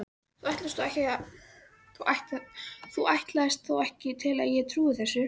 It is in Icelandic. Þú ætlast þó ekki til að ég trúi þessu.